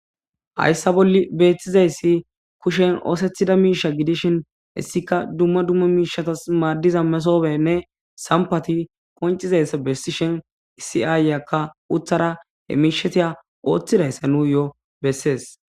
hayssa bolli beethtizayssi kushen oosethida miisha gidishin issika dumma dumma miishatas maaddiza mesoobenne sampati koncizayssa bessishen isiaayyakka uthara he miishetiya ooththidayssa nuu yo7o bessees